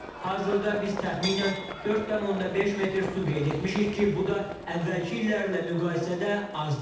Hazırda biz təxminən 4,5 metr su qeyd etmişik ki, bu da əvvəlki illərlə müqayisədə azdır.